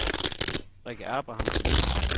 Rikke Abrahamsen